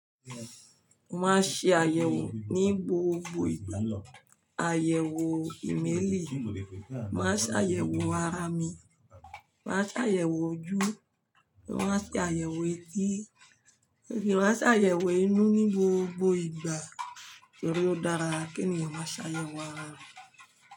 Mo máa ṣe àyẹ̀wò ní gbogbo ìgbà. Àyẹ̀wò ìmẹ́ẹ̀lì, màá ṣe àyẹ̀wò ara mi, màá ṣe àyẹ̀wò ojú, màá ṣe àyẹ̀wò etí, èyí ni màá ṣe àyẹ̀wò inú ní gbogbo ìgbà torí ó dára kí ènìyàn máa ṣàyẹ̀wò ara rẹ̀